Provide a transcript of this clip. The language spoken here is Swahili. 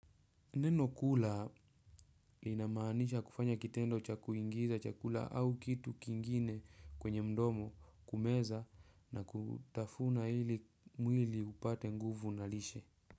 Neno kula linamaanisha kufanya kitendo cha kuingiza chakula au kitu kingine kwenye mdomo kumeza na kutafuna ili mwili upate nguvu na lishe.